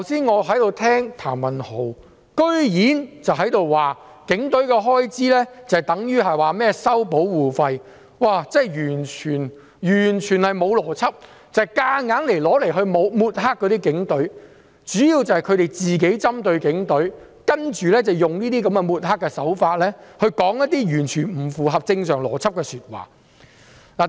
我剛才聽譚文豪議員的發言，竟然說警隊的開支等於收保護費——這是完全沒有邏輯，只是強行抹黑警隊，他們主要是針對警隊，然後用抹黑的手法說一些完全不合正常邏輯的說話。